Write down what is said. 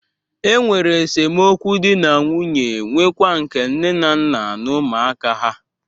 Enwere esemokwu dị na nwunye nwekwa nke nne na nna na ụmụaka ha.